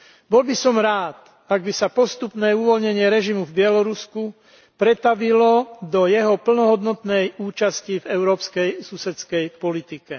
Bol by som rád, ak by sa postupné uvoľnenie režimu v Bielorusku pretavilo do jeho plnohodnotnej účasti v európskej susedskej politike.